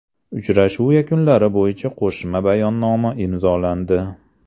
Uchrashuv yakunlari bo‘yicha qo‘shma bayonnoma imzolandi.